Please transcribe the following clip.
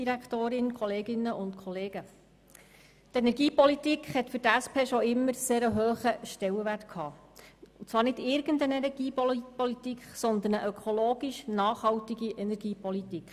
Die Energiepolitik hatte für die SP schon immer einen sehr hohen Stellenwert, und zwar nicht irgendeine Energiepolitik, sondern eine ökologisch nachhaltige Energiepolitik.